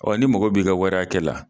Ɔ n'i mago b'i ka wara hakɛ la